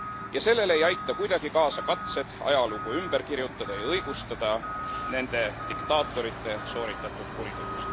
Ja sellele ei aita kuidagi kaasa katsed ajalugu ümber kirjutada ja õigustada nende diktaatorite sooritatud kuritegusid.